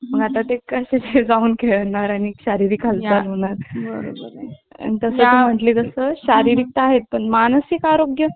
मंग ते कशे जाऊन खेळणार आणि शारारीक हालचाल करणार ,बरोबर आहे आणि तसं म्हणजे जसं शारीरिक त आहेत पण मानसिक आरोग्य